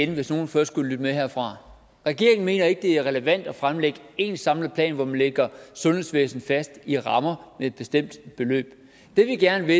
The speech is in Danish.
det hvis nogen først skulle lytte med herfra regeringen mener ikke det er relevant at fremlægge én samlet plan hvor man lægger sundhedsvæsenet fast i rammer med et bestemt beløb det vi gerne